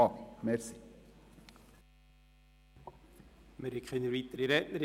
Es gibt keine weiteren Redner.